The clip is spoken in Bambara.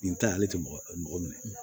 Nin ta ye ale tɛ mɔgɔ minɛ